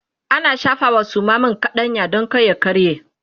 ana shafawa Suma man kaɗanya Dan kar ya karye